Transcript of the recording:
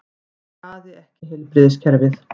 Skaði ekki heilbrigðiskerfið